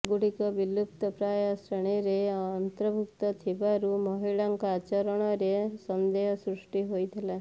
ସେଗୁଡ଼ିକ ବିଲୁପ୍ତ ପ୍ରାୟ ଶ୍ରେଣୀରେ ଅନ୍ତର୍ଭୁକ୍ତ ଥିବାରୁ ମହିଳାଙ୍କ ଆଚରଣରେ ସନ୍ଦେହ ସୃଷ୍ଟି ହୋଇଥିଲା